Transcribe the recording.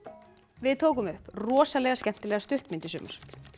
við tókum upp skemmtilega stuttmynd í sumar